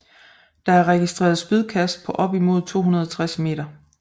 Der er registreret spydkast på op imod 260 m